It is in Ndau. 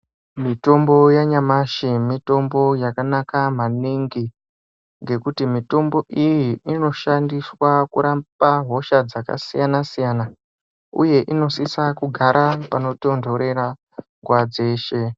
Mitombo yanyamashi ,mitombo yakanaka maningi, ngekuti mitombo iyi inoshandiswa kurapa hosha dzakasiyana-siyana, uye inosisa kugara panotontorera ,nguwa dzeshe.